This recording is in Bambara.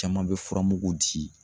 Caman bɛ furamugu di